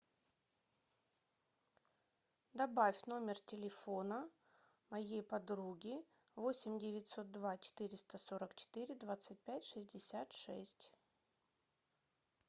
добавь номер телефона моей подруги восемь девятьсот два четыреста сорок четыре двадцать пять шестьдесят шесть